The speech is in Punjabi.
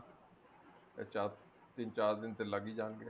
ਤਿੰਨ ਚਾਰ ਤਿੰਨ ਚਾਰ ਦਿਨ ਤੇ ਲੱਗ ਹੀ ਜਾਣਗੇ